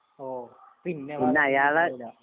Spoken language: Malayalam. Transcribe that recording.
ഓ പിന്നെ കണ്ടിട്ട് ഇണ്ടാവൂല